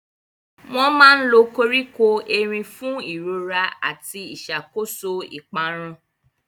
Wọ́n máa ń lo koríko erin fún ìrora àti ìṣàkóso ìparun.